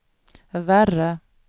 värre